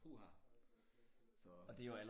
Puha så